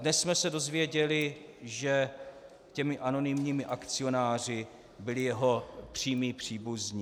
Dnes jsme se dověděli, že těmi anonymními akcionáři byli jeho přímí příbuzní.